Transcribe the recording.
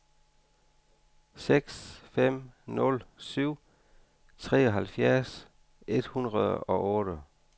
seks fem nul syv treoghalvfjerds et hundrede og otte